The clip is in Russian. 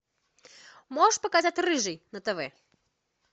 можешь показать рыжий на тв